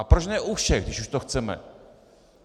A proč ne u všech, když už to chceme?